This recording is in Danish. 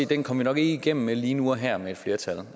den kom vi nok ikke igennem med lige nu og her med et flertal